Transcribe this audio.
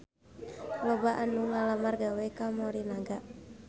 Loba anu ngalamar gawe ka Morinaga